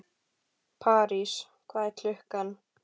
París, hvað er klukkan?